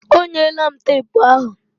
Ọ nyela m tepu ahụ